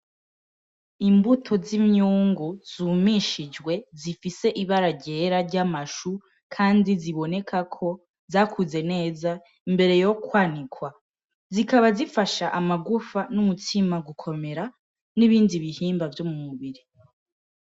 Imbuto z’iminyungu zumishijwe zifise ibara ryera ry’amashu kandi ziboneka ko zakuze neza mbere yo kwanikwa. Zikaba zifasha amagufa n’umutima gukomera n’ibindi bihimba vyo mu mubiri.